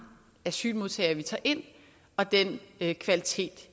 asylmodtagere vi tager ind og den kvalitet